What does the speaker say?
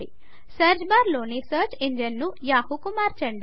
search బార్లోని search ఇంజన్ను Yahooకు మార్చండి